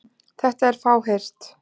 Þetta er fáheyrt.